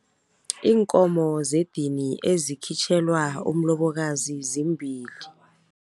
Iinkomo zedini ezikhitjhelwa umlobokazi zimbili.